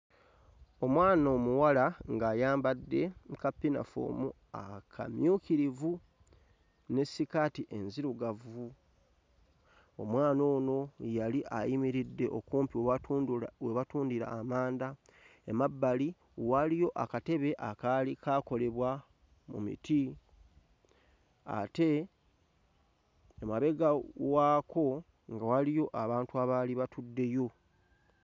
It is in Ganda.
Omwana omuwala ng'ayambadde ka ppinafoomu akamyukirivu ne sikaati enzirugavu, omwana ono yali ayimiridde okumpi watundula we batundira amanda, emabbali waaliyo akatebe akaali kaakolebwa mu miti ate emabega waako nga waliyo abantu abaali batuddeyo.